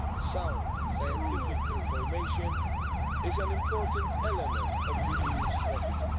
Sound scientific information is an important element of the EU's strategy